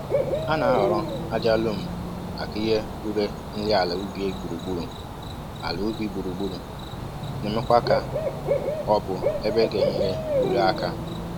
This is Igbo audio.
A na-ahoro aja lom maka ihe uré nri àlà ubi gburugburu, àlà ubi gburugburu, na eme kwa ka ọ bụ ebe ga enyere uré aka